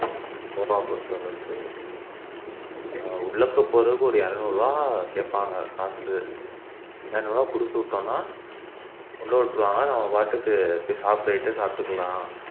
கோவா பொறுத்த அளவுக்கு ஆஹ் உள்ள இப்போ போறதுக்கு ஒரு இருநூறு ரூபாய் கேப்பாங்க காசு இருநூறு ரூபாய் குடுத்துவிட்டோம்னா உள்ள விட்டுருவாங்க நம்ம பாட்டுக்கு போய் சாப்பிடுறத சாப்பிட்டுக்கலாம்